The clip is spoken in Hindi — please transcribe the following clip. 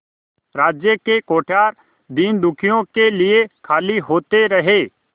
राज्य के कोठार दीनदुखियों के लिए खाली होते रहे